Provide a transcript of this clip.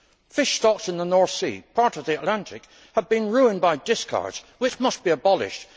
Fish stocks in the North Sea, part of the Atlantic, have been ruined by discards, which must be abolished.